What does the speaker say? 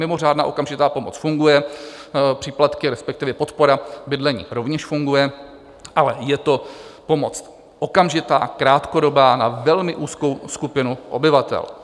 Mimořádná okamžitá pomoc funguje, příplatky, respektive podpora bydlení rovněž funguje, ale je to pomoc okamžitá, krátkodobá, na velmi úzkou skupinu obyvatel.